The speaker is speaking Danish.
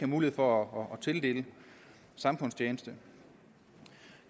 mulighed for at tildele samfundstjeneste